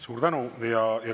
Suur tänu!